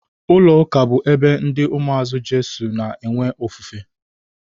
Ụlọ ụka bụ ebe ndị umuazi Jesus na-enwe ofufe